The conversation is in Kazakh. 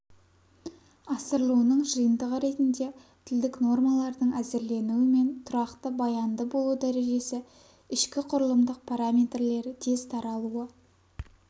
асырылуының жиынтығы ретінде тілдік нормалардың әзірленуі мен тұрақты баянды болу дәрежесі ішкіқұрылымдық параметрлері тез таралуы